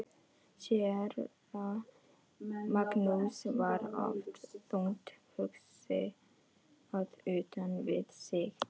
Séra Magnús var oft þungt hugsi og utan við sig.